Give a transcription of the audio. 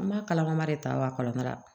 An b'a kalama de ta wa kalan